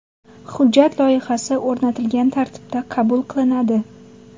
Hujjat loyihasi o‘rnatilgan tartibda qabul qilinadi.